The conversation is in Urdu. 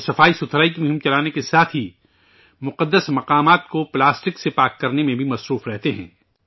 وہ ، سوچھتا کی مہم چلانے کے ساتھ ہی ، مقدس مقامات کو ، پلاسٹک سے پاک کرنے میں بھی مصروف رہتے ہیں